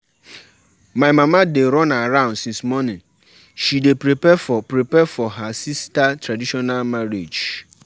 She believe sey she fit bring her traditional belief inside her Islamic faith.